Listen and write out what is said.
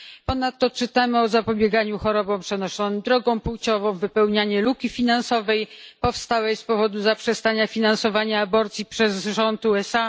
Ponadto czytamy o zapobieganiu chorobom przenoszonym drogą płciową i wypełnianiu luki finansowej powstałej z powodu zaprzestania finansowania aborcji przez rząd USA.